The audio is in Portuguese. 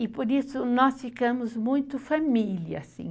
E, por isso, nós ficamos muito família, assim.